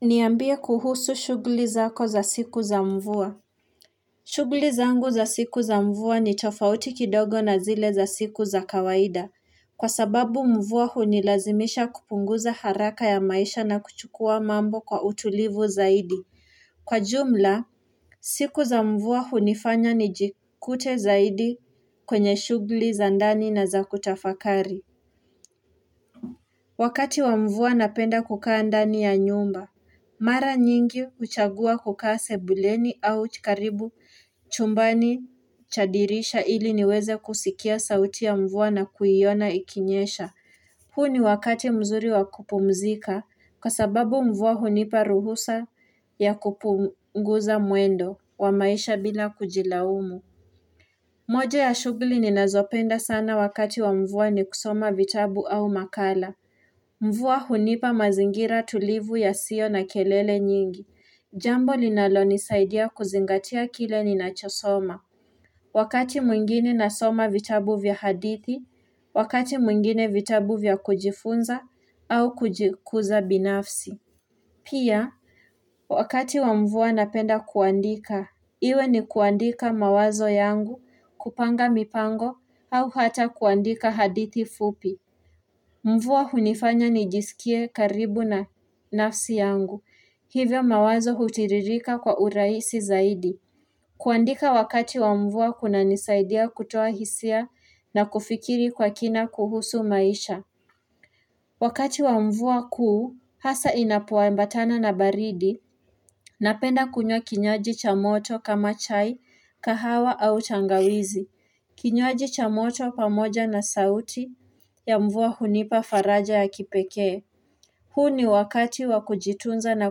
Niambie kuhusu shugli zako za siku za mvua. Shugli zangu za siku za mvua ni tofauti kidogo na zile za siku za kawaida. Kwa sababu mvua hunilazimisha kupunguza haraka ya maisha na kuchukua mambo kwa utulivu zaidi. Kwa jumla, siku za mvua hunifanya nijikute zaidi kwenye shugli za ndani na za kutafakari. Wakati wa mvua napenda kukaa ndani ya nyumba. Mara nyingi uchagua kuka sebuleni au chikaribu chumbani cha dirisha ili niweze kusikia sauti ya mvua na kuyiona ikinyesha. Hu ni wakati mzuri wakupumzika kwa sababu mvua hunipa ruhusa ya kupunguza muendo wa maisha bila kujilaumu. Moja ya shugli ninazopenda sana wakati wa mvua ni kusoma vitabu au makala. Mvuwa hunipa mazingira tulivu yasio na kelele nyingi. Jambo linalonisaidia kuzingatia kile ninachosoma. Wakati mwingine nasoma vitabu vya hadithi, wakati mwingine vitabu vya kujifunza au kujikuza binafsi. Pia, wakati wa mvuwa napenda kuandika, iwe ni kuandika mawazo yangu kupanga mipango au hata kuandika hadithi fupi. Mvuwa hunifanya nijisikie karibu na nafsi yangu, hivyo mawazo hutiririka kwa uraisi zaidi. Kuandika wakati wa mvuwa kunanisaidia kutoa hisia na kufikiri kwa kina kuhusu maisha. Wakati wamvuwa kuu, hasa inapowambatana na baridi, napenda kunywa kinyoaji cha moto kama chai, kahawa au tangawizi. Kinyoaji cha moto pamoja na sauti ya mvua hunipa faraja ya kipekee. Hu ni wakati wakujitunza na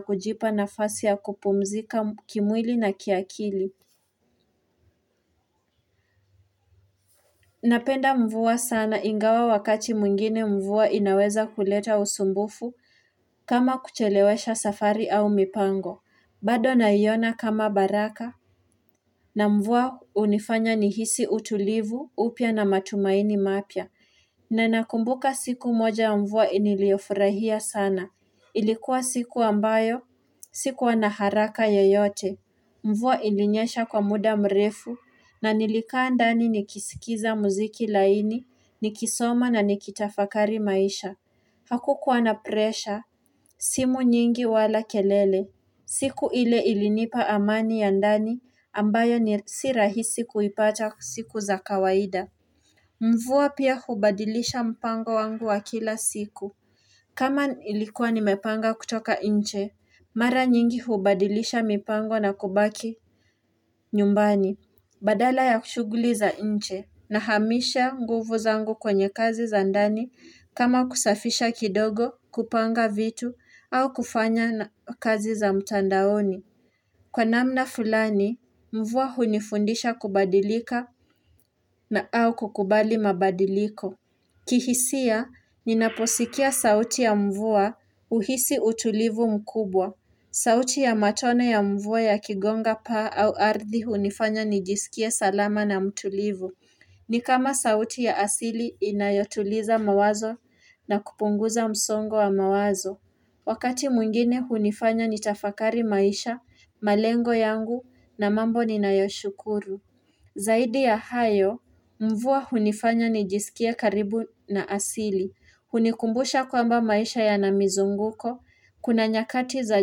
kujipa nafasi ya kupumzika kimwili na kiakili. Napenda mvua sana ingawa wakati muingine mvua inaweza kuleta usumbufu kama kuchelewesha safari au mipango. Bado naiona kama baraka na mvua unifanya nihisi utulivu upia na matumaini mapia. Na nakumbuka siku moja ya mvua niliofurahia sana Ilikuwa siku ambayo, sikuwa na haraka yoyote mvua ilinyesha kwa muda mrefu, na nilikaa ndani nikisikiza muziki laini, nikisoma na nikitafakari maisha Hakukuwa na presha, simu nyingi wala kelele siku ile ilinipa amani ya ndani, ambayo ni sirahisi kuipata siku za kawaida Mvuwa pia hubadilisha mpango wangu wa kila siku kama ilikuwa nimepanga kutoka inche Mara nyingi hubadilisha mipango na kubaki nyumbani Badala ya kushuguli za inche Nahamisha nguvu zangu kwenye kazi za andani kama kusafisha kidogo kupanga vitu au kufanya kazi za mtandaoni Kwa namna fulani, mvuwa hunifundisha kubadilika na au kukubali mabadiliko kihisia, ninaposikia sauti ya mvua uhisi utulivu mkubwa sauti ya matone ya mvua yakigonga paa au ardi hunifanya nijisikie salama na mtulivu Nikama sauti ya asili inayotuliza mawazo na kupunguza msongo wa mawazo Wakati muingine hunifanya nitafakari maisha, malengo yangu na mambo ninayoshukuru Zaidi ya hayo, mvuwa hunifanya nijisikie karibu na asili. Hunikumbusha kwamba maisha yana mizunguko, kuna nyakati za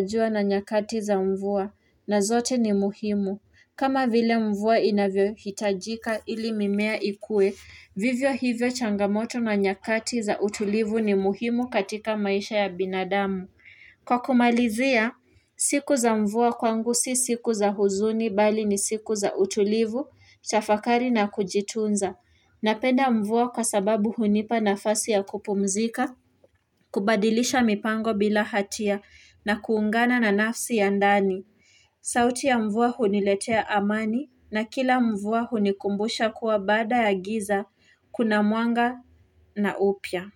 jua na nyakati za mvuwa, na zote ni muhimu. Kama vile mvuwa inavyohitajika ili mimea ikue, vivyo hivyo changamoto na nyakati za utulivu ni muhimu katika maisha ya binadamu. Kwa kumalizia siku za mvua kwangu si siku za huzuni bali ni siku za utulivu, tafakari na kujitunza, napenda mvua kwa sababu hunipa nafasi ya kupumzika kubadilisha mipango bila hatia na kuungana na nafsi ya ndani sauti ya mvua huniletea amani na kila mvua hunikumbusha kuwa bada ya giza kuna muanga na upya.